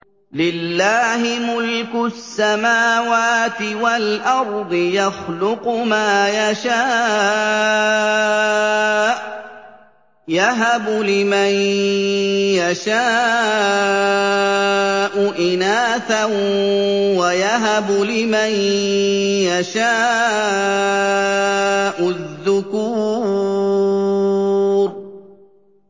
لِّلَّهِ مُلْكُ السَّمَاوَاتِ وَالْأَرْضِ ۚ يَخْلُقُ مَا يَشَاءُ ۚ يَهَبُ لِمَن يَشَاءُ إِنَاثًا وَيَهَبُ لِمَن يَشَاءُ الذُّكُورَ